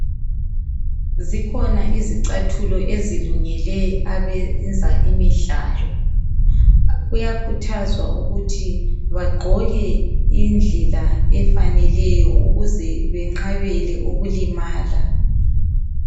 Zikhona izicathulo ezilungele abenza imidlalo kuyakhuthazwa ukuthi bagqoke indlela efaneleyo ukuze beqabele ukulimala.